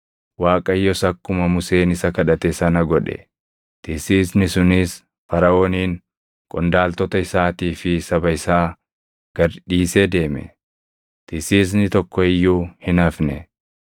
Waaqayyos akkuma Museen isa kadhate sana godhe; tisiisni sunis Faraʼoonin, qondaaltota isaatii fi saba isaa gad dhiisee deeme; tisiisni tokko iyyuu hin hafne.